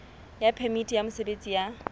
ya phemiti ya mosebetsi ya